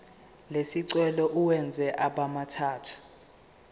lesicelo uwenze abemathathu